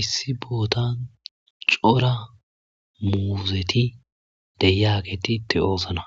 Issi bootan cora muuzeti deyaketitte oosna